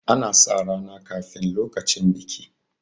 ana sa rana kafin lokacin biki